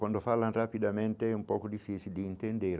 Quando falam rapidamente, é um pouco difícil de entender.